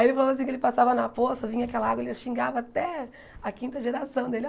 Aí ele falou assim que ele passava na poça, vinha aquela água ele xingava até a quinta geração dele.